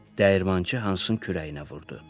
Dəyirmançı Hansın kürəyinə vurdu.